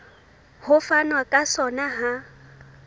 ho fanwa ka sona ha